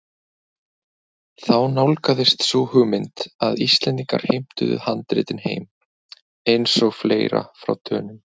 Þá nálgaðist sú hugmynd að Íslendingar heimtuðu handritin heim- eins og fleira frá Dönum.